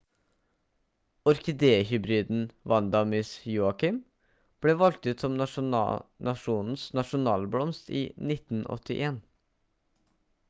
orkidé-hybriden vanda miss joaquim ble valgt ut som nasjonens nasjonalblomst i 1981